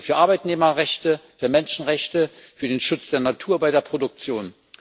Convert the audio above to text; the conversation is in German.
Das gilt für Arbeitnehmerrechte, für Menschenrechte, für den Schutz der Natur bei der Produktion.